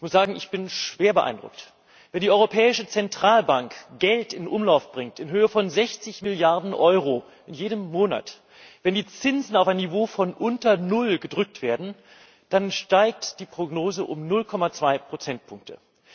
Ich muss sagen Ich bin schwer beeindruckt! Wenn die Europäische Zentralbank in jedem Monat Geld in Höhe von 60 Milliarden Euro in Umlauf bringt, wenn die Zinsen auf ein Niveau von unter null gedrückt werden, dann steigt die Prognose um 0,2 Prozentpunkte!